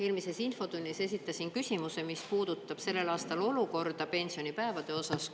Eelmises infotunnis esitasin küsimuse, mis puudutab sellel aastal olukorda pensionipäevade osas.